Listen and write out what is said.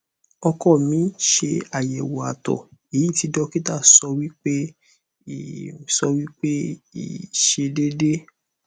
oko mi se ayewo ato eyi ti dokita sowipe i sowipe i se dede